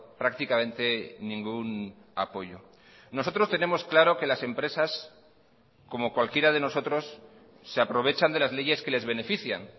prácticamente ningún apoyo nosotros tenemos claro que las empresas como cualquiera de nosotros se aprovechan de las leyes que les benefician